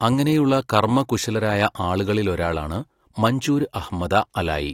അങ്ങനെയുള്ള കർമ്മകുശലരായ ആളുകളിലൊരാളാണ് മംജൂർ അഹമദ അലാഈ.